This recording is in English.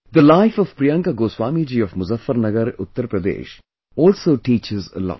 The life of Priyanka Goswami ji of Muzaffarnagar, Uttar Pradesh also teaches a lot